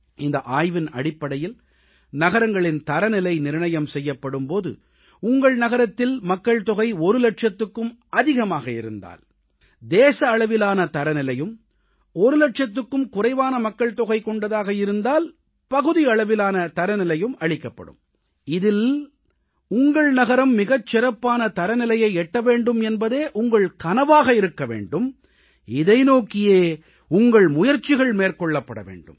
இந்த ஆய்வின் அடிப்படையில் நகரங்களின் தரநிலை நிர்ணயம் செய்யப்படும் போது உங்கள் நகரத்தில் மக்கள் தொகை ஒரு லட்சத்துக்கும் அதிகமாக இருந்தால் தேசஅளவிலான தரநிலையும் ஒரு லட்சத்துக்கும் குறைவான மக்கள்தொகை கொண்டதாக இருந்தால் பகுதி அளவிலான தரநிலையும் அளிக்கப்படும் இதில் உங்கள் நகரம் மிகச்சிறப்பான தரநிலையை எட்ட வேண்டும் என்பதே உங்கள் கனவாக இருக்க வேண்டும் இதை நோக்கியே உங்கள் முயற்சிகள் மேற்கொள்ளப்பட வேண்டும்